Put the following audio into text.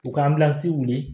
U ka weele